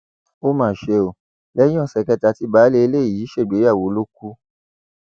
ó mà ṣe o lẹyìn ọsẹ kẹta tí baálé ilé yìí ṣègbéyàwó ló kù